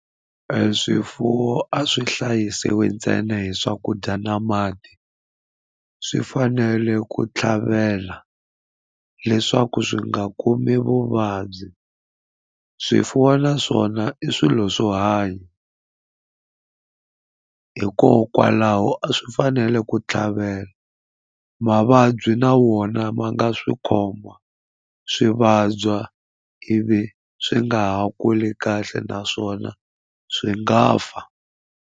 E swifuwo a swi hlayisiwi ntsena hi swakudya na mati swi fanele ku tlhavela leswaku swi nga kumi vuvabyi swifuwo na swona i swilo swo hanya hikokwalaho a swi fanele ku tlhavela mavabyi na wona ma nga swi khoma swi vabya ivi swi nga ha kuli kahle naswona swi nga fa.